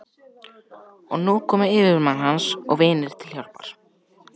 Og nú komu yfirmenn hans og vinir til hjálpar.